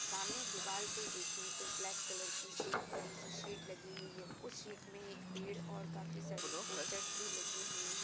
सामने दीवाल पे देखे तो ब्लैक कलर की एक बड़ी सी शीट लगी हुई है। उस शीट में एक पेड़ और काफी सारी पोस्टर्स भी लगी हुई हैं।